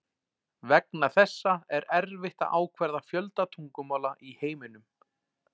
Vegna þessa er erfitt að ákvarða fjölda tungumála í heiminum.